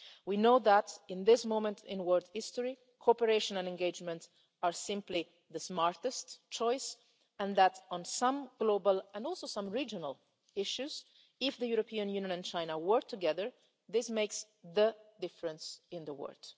world. We know that, at this moment in world history, cooperation and engagement are simply the smartest choice and that, on some global and also some regional issues, if the European Union and China work together, this makes the difference in the